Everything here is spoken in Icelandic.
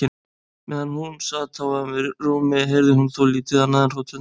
Meðan hún sat á ömmu rúmi heyrði hún þó lítið annað en hroturnar í henni.